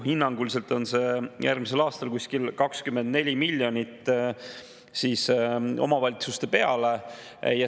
Hinnanguliselt on see järgmisel aastal kuskil 24 miljonit omavalitsuste peale.